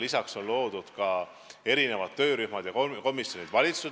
Lisaks on loodud ka mitu töörühma ja komisjoni.